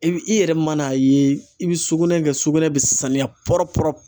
I bi i yɛrɛ man'a ye i bi sugunɛ kɛ sugunɛ bi saniya